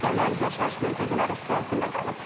Küçələr, yaşayış məntəqələri su altında qalıb.